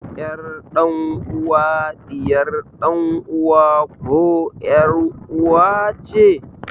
Ƴar dan uwa ɗiyar ɗan uwa koh ƴar uwa ce